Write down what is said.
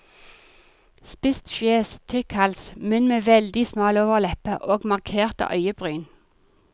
Spisst fjes, tykk hals, munn med veldig smal overleppe og markerte øyebryn.